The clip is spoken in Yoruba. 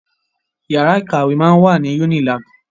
Yàrá ìkàwé máa wà ní Unilag.